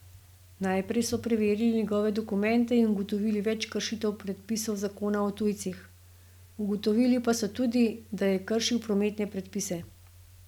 Najprej so preverili njegove dokumente in ugotovili več kršitev predpisov zakona o tujcih, ugotovili pa so tudi, da je kršil prometne predpise.